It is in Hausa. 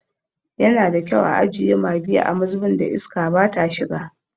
Yana da kyau a ajiye maggi a mazubin da iska bata shiga.